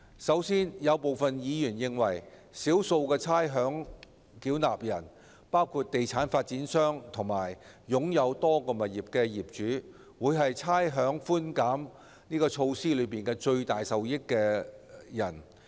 首先，有部分議員認為，少數的差餉繳納人，包括地產發展商和擁有多個物業的業主，會是差餉寬減措施的最大受益人。